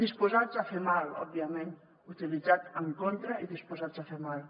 disposats a fer mal òbviament utilitzat en contra i disposats a fer mal